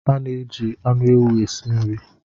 A na-eji anụ ewu esi nri.